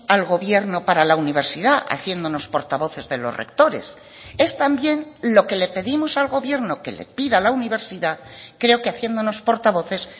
al gobierno para la universidad haciéndonos portavoces de los rectores es también lo que le pedimos al gobierno que le pida a la universidad creo que haciéndonos portavoces